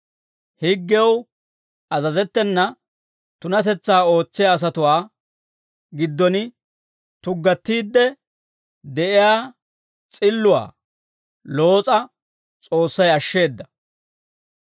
Higgew azazettena tunatetsaa ootsiyaa asatuwaa giddon tuggattiide de'iyaa s'illuwaa Loos'a S'oossay ashsheeda.